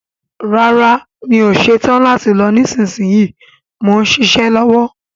Rárá, mi ò ṣetán láti lọ nísinsìnyí, mò ń ṣiṣẹ́ lọ́wọ́